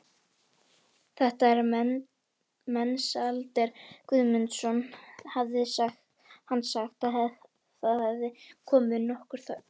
Þetta er Mensalder Guðmundsson, hafði hann sagt og það hafði komið nokkur þögn.